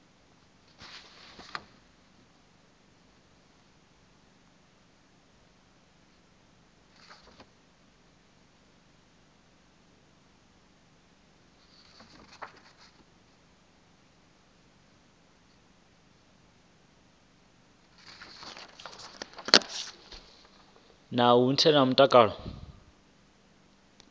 na u vhaisala kha mutakalo